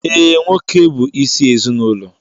Ee, nwoke bụ isi ezinụlọ